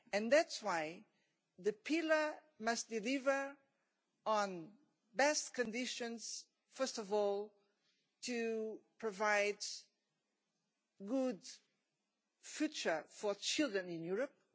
That is why the Pillar must deliver on best conditions first of all to provide a good future for children in Europe.